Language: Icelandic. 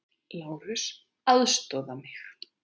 LÁRUS: Aðstoða mig!